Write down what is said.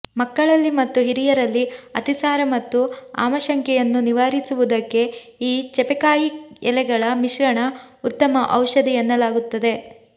ಮಕ್ಕಳಲ್ಲಿ ಮತ್ತು ಹಿರಿಯರಲ್ಲಿ ಅತಿಸಾರ ಮತ್ತು ಆಮಶಂಕೆಯನ್ನು ನಿವಾರಿಸುವುದಕ್ಕೆ ಈ ಚೆಪೆಕಾಯಿ ಎಲೆಗಳ ಮಿಶ್ರಣ ಉತ್ತಮ ಔಷಧಿ ಎನ್ನಲಾಗುತ್ತದೆ